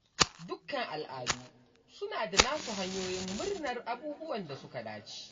Dukkan al’adu suna da nasu hanyoyin murnar abubuwan da suka dace.